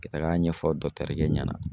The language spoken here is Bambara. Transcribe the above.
Ka tag'a ɲɛfɔ kɛ ɲɛna